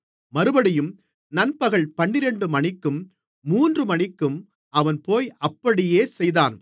மறுபடியும் நண்பகல் பன்னிரண்டுமணிக்கும் மூன்றுமணிக்கும் அவன்போய் அப்படியே செய்தான்